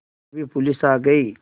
तभी पुलिस आ गई